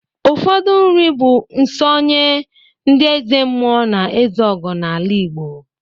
Ụfọdụ nri bụ nsọ nye ndị ezemmụọ na ezeogo n'ala Igbo.